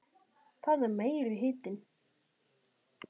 Það er meiri hitinn!